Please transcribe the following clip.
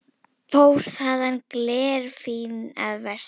Fór þaðan glerfín að versla.